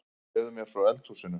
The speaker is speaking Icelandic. Segðu mér frá eldhúsinu